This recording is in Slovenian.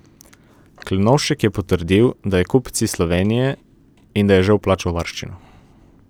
Klenovšek je potrdil, da je kupec iz Slovenije in da je že vplačal varščino.